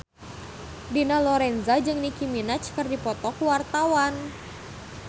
Dina Lorenza jeung Nicky Minaj keur dipoto ku wartawan